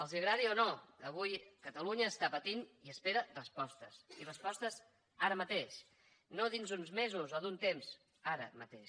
els agradi o no avui catalunya pateix i espera respostes i respostes ara mateix no d’aquí a uns mesos o un temps ara mateix